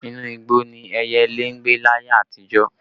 Inú igbó ni ẹyẹlé ń gbé láyé àtijó